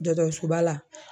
Dɔdɔsoba la.